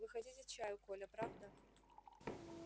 вы хотите чаю коля правда